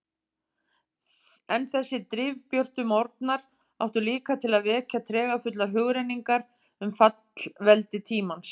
En þessir drifbjörtu morgnar áttu líka til að vekja tregafullar hugrenningar um fallvelti tímans.